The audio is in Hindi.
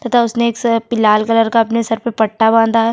तथा उसने एक स पि लाल कलर का अपने सर पे पट्टा बांधा है।